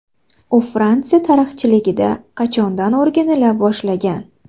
U Fransiya tarixchiligida qachondan o‘rganila boshlangan?